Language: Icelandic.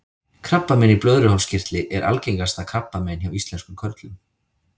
krabbamein í blöðruhálskirtli er algengasta krabbamein hjá íslenskum körlum